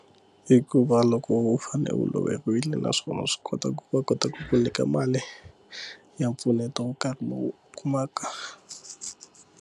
I ku va loko u fane u lovile naswona wa swi kota ku va kota ku nyika mali ya mpfuneto wo karhi lowu kumaka.